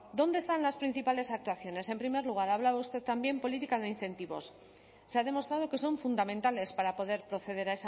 dónde están las principales actuaciones en primer lugar hablaba usted también política de incentivos se ha demostrado que son fundamentales para poder proceder